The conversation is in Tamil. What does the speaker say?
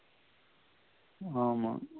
ஆமா